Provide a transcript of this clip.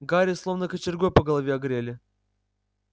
гарри словно кочергой по голове огрели